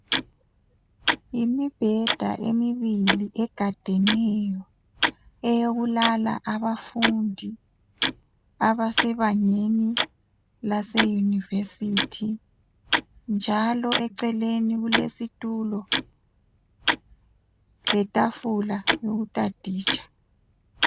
Imibheda emibili egadeneyo eyokulala abafundi abasebangeni laseYunivesithi njalo eceleni kulesitulo letafula yokutaditsha.